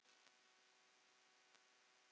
Minning um bróður.